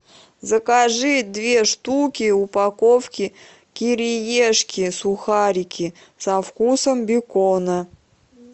закажи две штуки упаковки кириешки сухарики со вкусом бекона